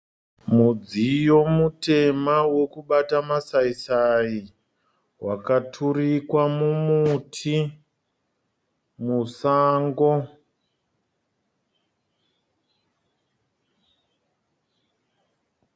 Mudziyo mutema wekubata masaisai wakaturikwa mumuti musango.